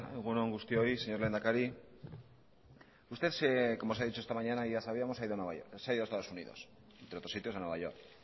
egun on guztioi señor lehendakari usted como se ha dicho esta mañana y ya sabíamos se ha ido a nueva york se ha ido a estados unidos entre otros sitios a nueva york